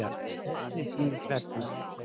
Haustið sýnir klærnar